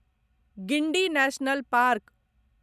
Guindy national park